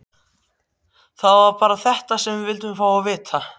Það var bara þetta sem við vildum fá að vita.